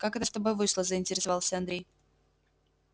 как это с тобой вышло заинтересовался андрей